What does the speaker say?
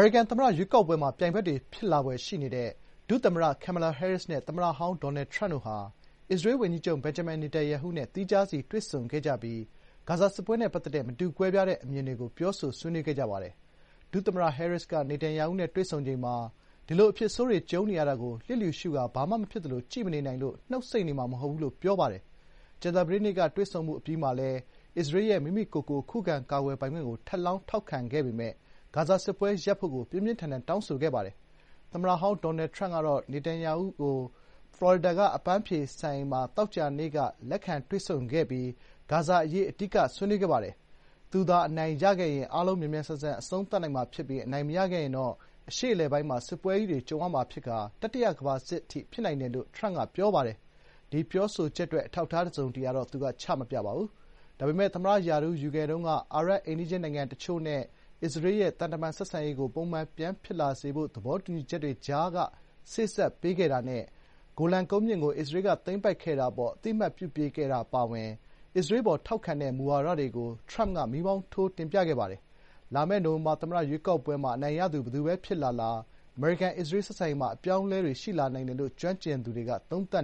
ရိကန် သမ္မတ ရွေးကောက်ပွဲမှာ ပြိုင်ဖက်တွေ ဖြစ်လာဖွယ်ရှိနေတဲ့ ဒုသမ္မတ ကယ်မလာဟဲရစ် နဲ့ သမ္မတဟောင်း ဒေါ်နယ်ထရမ့်တို့ဟာ အစ္စရေး ၀န်ကြီးချုပ် ဘင်ဂျမင် နေတန်ယာဟုနဲ့ သီးခြားစီ တွေ့ဆုံခဲ့ကြပြီး ဂါဇာ စစ်ပွဲနဲ့ ပတ်သက်တဲ့ မတူကွဲပြားတဲ့ အမြင်တွေကို ပြောဆိုဆွေးနွေးခဲ့ကြပါတယ်။ ဒုသမ္မတ ဟဲရစ်က နေတန်ယာဟုနဲ့ တွေ့ဆုံချိန်မှာ “ဒီလို အဖြစ်ဆိုးတွေ ကြုံနေရတာကို လျစ်လျူရှုကာ ဘာမှ မဖြစ်သလို ကြည့်မနေနိုင်လို့ နှုတ်ဆိတ်နေမှာ မဟုတ်ဘူး” လို့ ပြောခဲ့ပါတယ်။ ကြာသပတေးနေ့ကတွေ့ဆုံမှု အပြီးမှာလည်း အစ္စရေးရဲ့ မိမိကိုယ်ကိုယ် ခုခံကာကွယ်ပိုင်ခွင့်ကို ထပ်လောင်း ထောက်ခံအတည်ပြုပေမယ့် ဂါဇာ စစ်ပွဲရပ်ဖို့ကို ပြင်းပြင်းထန်ထန်တောင်းဆိုခဲ့ပါတယ်။ သမ္မတဟောင်း ဒေါ်နယ်ထရမ့်က နေတန်ယာဟို ဖလော်ရီဒါက အပန်းဖြေစံအိမ်မှာ သောကြာနေ့က လက်ခံ တွေ့ဆုံချိန်မှာလည်း ဂါဇာ အရေးကို အဓိက ဆွေးနွေးခဲ့ပါတယ်။ “သူသာ အနိုင်ရခဲ့ရင် အားလုံး မြန်မြန်ဆန်ဆန် အဆုံးသတ်နိုင်မှာ ဖြစ်ပြီး အနိုင်မရခဲ့ရင်တော့ အရှေ့အလယ်ပိုင်းမှာ စစ်ပွဲကြီးတွေ ကြုံရမှာ ဖြစ်ပြီး တတိယကမ္ဘာစစ်တောင် ဖြစ်နိုင်တယ်" လို့ ထရမ့်က ပြောပါတယ်။ ဒီပြောဆိုချက်အတွက် အထောက်အထား တစုံတရာတော့ သူက ချမပြပါဘူး။ ဒါပေမယ့် သမ္မတရာထူး ယူခဲ့တုန်းက အာရပ်အိမ်နီးချင်းနိုင်ငံအချို့နဲ့ အစ္စရေးရဲ့ သံတမန်ဆက်ဆံရေးကို ပုံမှန်ဖြစ်လာစေတဲ့ သဘောတူညီချက်တွေ ကြားက စေ့စပ် ပေးခဲ့တာနဲ့ ဂိုလန်ကုန်းမြင့်ကို အစ္စရေးက သိမ်းပိုက်တာအပေါ် အသိအမှတ်ပြုပေးခဲ့တာ အပါအဝင် အစ္စရေးအပေါ် ထောက်ခံတဲ့ မူဝါဒတွေကို မီးမောင်းထိုးပြခဲ့ပါတယ်။ လာမယ့် နိုဝင်ဘာလ သမ္မတ ရွေးကောက်ပွဲမှာ အနိုင်ရသူ ဘယ်သူပဲ ဖြစ်လာလာ အမေရိကန်-အစ္စရေး ဆက်ဆံရေးမှာ အပြောင်းအလဲတွေ ရှိလာနိုင်တယ်လို့ ကျွမ်းကျင်သူတွေက သုံးသပ်